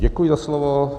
Děkuji za slovo.